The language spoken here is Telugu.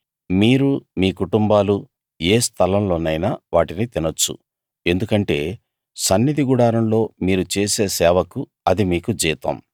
మీరూ మీ కుటుంబాలూ ఏ స్థలంలోనైనా వాటిని తినొచ్చు ఎందుకంటే సన్నిధి గుడారంలో మీరు చేసే సేవకు అది మీకు జీతం